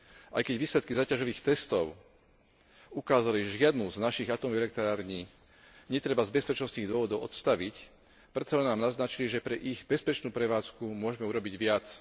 Aj keď výsledky záťažových testov ukázali, že žiadnu z našich atómových elektrární netreba z bezpečnostných dôvodov odstaviť, predsa len nám naznačili, že pre ich bezpečnú prevádzku môžeme urobiť viac.